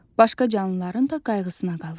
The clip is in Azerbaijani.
Başqa canlıların da qayğısına qalır.